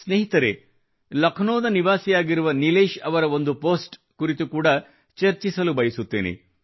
ಸ್ನೇಹಿತರೇ ಲಕ್ನೋದ ನಿವಾಸಿಯಾಗಿರುವ ನಿಲೇಶ್ ಅವರ ಒಂದು ಪೋಸ್ಟ್ ಕುರಿತು ಕೂಡಾ ಚರ್ಚಿಸಲು ಬಯಸುತ್ತೇನೆ